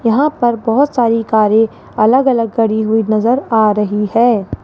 यहां पर बहुत सारी कारें अलग-अलग खड़ी हुई नजर आ रही है।